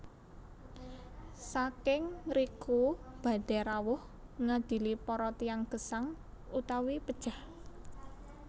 Saking ngriku badhé rawuh ngadili para tiyang gesang utawi pejah